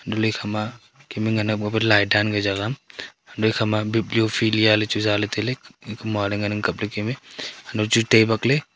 antole ikhama kem me ngan light dan ka jagah antole ikhama bibliophilia chu zaale taile iko maale nganang kaple kem me hanto chu tai bakle.